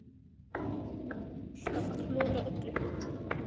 Af hverju þarf ég alltaf að klúðra öllu?